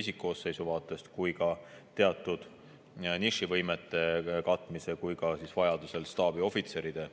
isikkoosseisu vaatest, meil oleks teatud nišivõimete katmise ja vajaduse korral saaks saata staabiohvitsere.